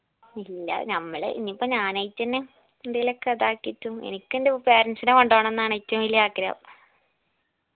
ഇല്ല ഞമ്മളെ ഇതിപ്പോ ഞാനായിട്ടെന്നെ എന്തേലൊക്കെ അതാക്കിയിട്ടും എനിക്കെൻറെ parents ന കൊണ്ടോണന്നാണ് ഏറ്റവും വലിയ ആഗ്രഹം